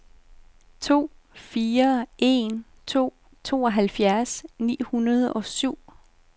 to fire en to tooghalvfjerds ni hundrede og syv